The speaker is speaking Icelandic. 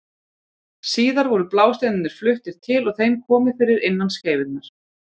Síðar voru blásteinarnir fluttir til og þeim komið fyrir innan skeifunnar.